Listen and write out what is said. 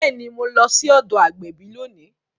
Bẹẹni, Mo lọ sí ọdọ agbẹbi lóni